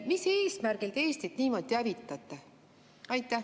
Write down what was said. Mis eesmärgil te Eestit niimoodi hävitate?